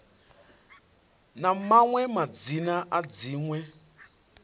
na maṅwe madzina a dziṅwe